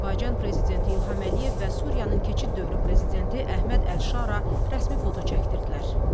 Azərbaycan prezidenti İlham Əliyev və Suriyanın keçid dövrü prezidenti Əhməd Əlşara rəsmi fotu çəkdirdilər.